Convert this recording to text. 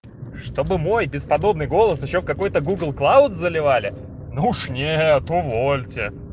чтобы мой бесподобный голос ещё в какой-то гугл клауд заливали ну уж нет увольте